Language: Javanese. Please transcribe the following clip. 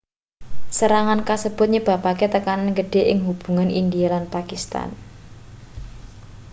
serangan kasebut nyebabake tekanan gedhe ing hubungan india lan pakistan